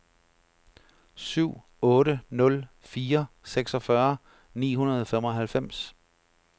syv otte nul fire seksogfyrre ni hundrede og femoghalvfems